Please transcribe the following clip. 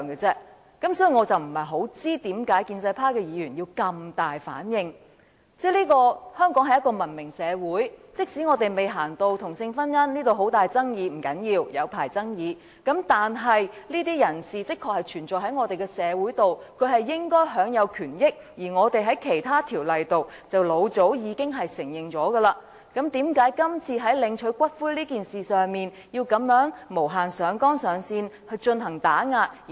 香港是一個文明社會，即使未走到同性婚姻這一步，社會上仍有很大爭議，不要緊，我們可以繼續長久地辯論下去，但這些人士確實存在於我們的社會，他們應該享有權益，而我們在其他條例中亦早已予以承認，為何今次在領取骨灰一事上要這樣無限上綱上線地打壓他們？